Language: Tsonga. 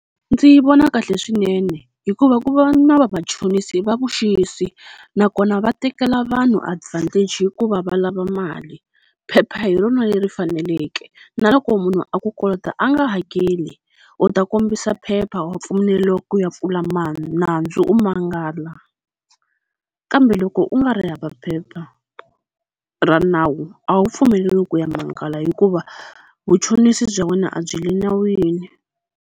Ndzi vona kahle swinene hikuva ku va na vamachonisi va vuxisi, nakona va tekela vanhu advantage hikuva va lava mali. Phepha hi rona leri faneleke na loko munhu a ku kolota a nga hakeli u ta kombisa phepha wa pfumeleriwa ku ya pfula nandzu, u mangala. Kambe loko u nga ri hava phepha ra nawu a wu pfumeleriwi ku ya mangala hikuva vuchonisi bya wena a byi le nawini.